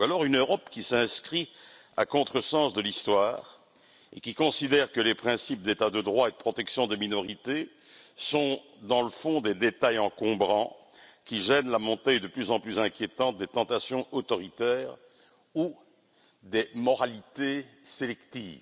ou alors une Europe qui s'inscrit à contresens de l'Histoire, et qui considère que les principes d'état de droit et de protection des minorités sont, dans le fond, des détails encombrants qui gênent la montée de plus en plus inquiétante des tentations autoritaires ou des moralités sélectives.